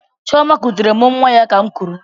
Chioma kutere m nwa ya ka'm kuru.